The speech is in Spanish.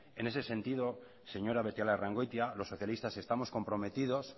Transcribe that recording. en ese sentido señora beitialarrangoitia los socialistas estamos comprometidos